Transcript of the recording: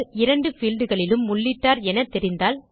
இரண்டு பீல்ட் களிலும் உள்ளிட்டார் என தெரிந்தால்